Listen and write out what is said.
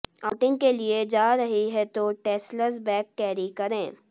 outing के लिए जा रही हैं तो टैसल्स बैग कैरी करें